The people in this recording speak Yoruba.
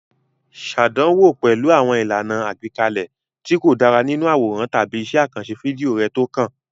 Ṣàdánwò pẹ̀lú àwọn ìlànà àgbékalẹ̀ tí kò dára nínú àwòrán tàbí iṣẹ́ àkànṣe fídíò rẹ tó kàn.